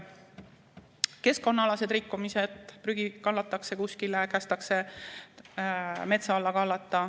Keskkonnaalased rikkumised, näiteks prügi kallatakse kuskile, kästakse metsa alla kallata.